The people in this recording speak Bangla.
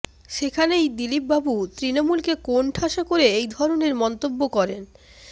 সেখানেই দিলীপ বাবু তৃণমূলকে কোণঠাসা করে এই ধরণের মন্তব্য করেন